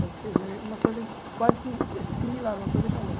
Fazer desenho é uma coisa quase que si similar, uma coisa com a outra.